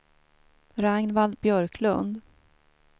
Ragnvald Björklund